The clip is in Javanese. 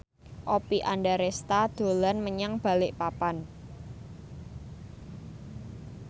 Oppie Andaresta dolan menyang Balikpapan